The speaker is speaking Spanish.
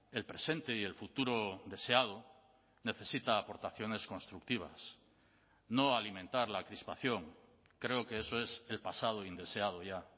el presente y el futuro deseado necesita aportaciones constructivas no alimentar la crispación creo que eso es el pasado indeseado ya